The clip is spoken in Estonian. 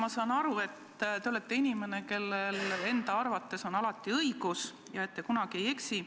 Ma saan aru, et te olete inimene, kellel enda arvates on alati õigus ja kes kunagi ei eksi.